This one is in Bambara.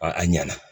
a ɲɛna